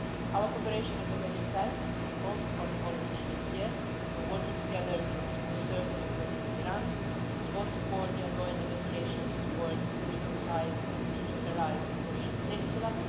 Our cooperation is already intense on most foreign policy matters we're working together to preserve the nuclear deal with Iran we both support the ongoing negotiations towards a reconciled and denuclearised Korean peninsula